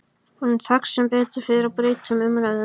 Honum tekst sem betur fer að breyta um umræðuefni.